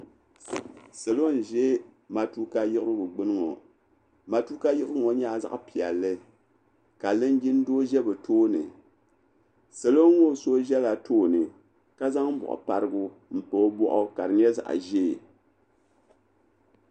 Salo n-ʒe matuka yiɣirigu gbuni ŋɔ matuka yiɣirigu ŋɔ nyɛla zaɣ'piɛlli ka linjin doo ʒe bɛ tooni salo ŋɔ so ʒela tooni ka zaŋ bɔɣu parigu m-pa o bɔɣu ka di nyɛ zaɣ'ʒee.